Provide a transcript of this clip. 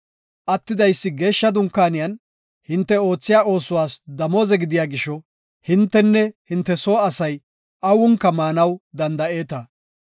Attidaysi geeshsha Dunkaaniyan hinte oothiya oosuwas damooze gidiya gisho hintenne hinte soo asay awunka maanaw danda7eeta.